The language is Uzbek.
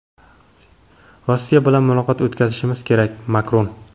Rossiya bilan muloqot o‘tkazishimiz kerak – Makron.